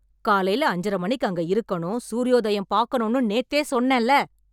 காலையில அஞ்சரை மணிக்கு அங்க இருக்கணும், சூரியோதயம் பாக்கணும்னு நேத்தே சொன்னேன்ல?!!!